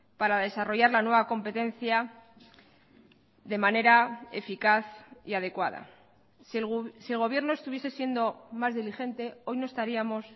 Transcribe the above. para desarrollar la nueva competencia de manera eficaz y adecuada si el gobierno estuviese siendo más diligente hoy no estaríamos